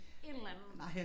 Et eller andet